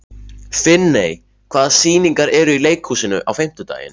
Finney, hvaða sýningar eru í leikhúsinu á fimmtudaginn?